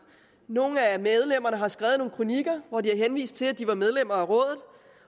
nogle af medlemmerne har skrevet nogle kronikker hvori de har henvist til at det var medlemmer af rådet